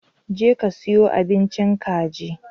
Je ka siyo abincin kaji!